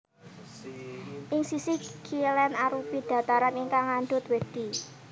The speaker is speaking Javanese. Ing sisih kilén arupi dhataran ingkang ngandhut wedhi